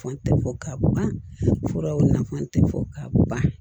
Fan tɛ fɔ ka ban furaw nafan tɛ fɔ ka ban